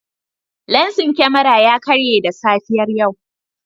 Lensin kyamara ya karye da safiyar yau.